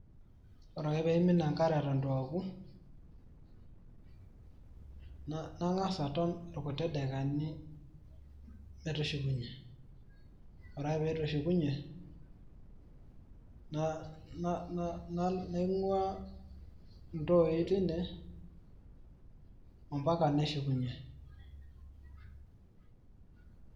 Ore ake pee imin enkare eton eitu aoku, nang`as aton ilkuti daikani metushukunyie. Ore ake pee eitu eshukunyie naing`uaa iltooi teine ompaka neshukunyie.